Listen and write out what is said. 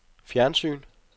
fjernsyn